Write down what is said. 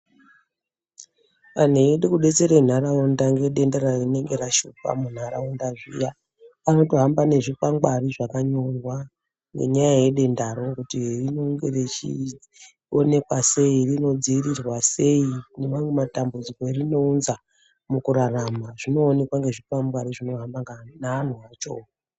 Anhu eyide kubetsere nharaunda ngedenda rinenge rashupa munharaunda zviya, anotohamba nezvikwangwari zvakanyorwa nenyaya yedendaro kuti rinonge richionekwa sei, rinodziirirwa sei, nemamwe matambudziko erinounza mukurarama, zvinoonekwa nezvikwangwani zvinohamba naanhu acho.